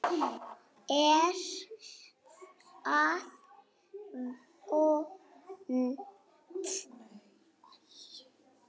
Er það vont?